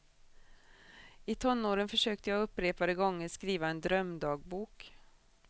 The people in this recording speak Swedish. I tonåren försökte jag upprepade gånger skriva en drömdagbok.